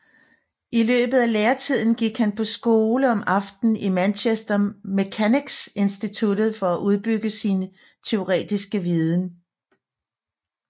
I løbet læretiden gik han på skole om aftenen i Manchester Mechanics Institute for at udbygge sin teoretiske viden